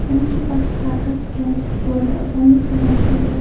उनके पास कागज कैंची गोद और अनेक सामग्री है।